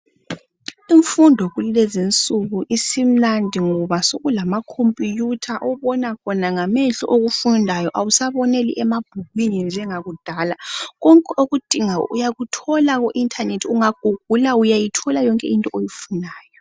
Imfundo kulezi insuku isimnandi ngoba sokulamakhompuyutha obona khona ngamehlo okufundayo awusaboneli emabhukwini njengakudala. Konke okudingayo uyakuthola ku inthanethi ungagugula uyayithola yonke into oyifunayo.